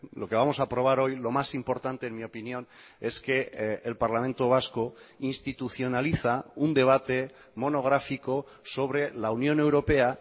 lo que vamos a aprobar hoy lo más importante en mi opinión es que el parlamento vasco institucionaliza un debate monográfico sobre la unión europea